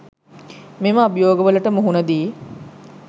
මෙම අභියෝග වලට මුහුණ දී